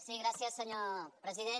sí gràcies senyor president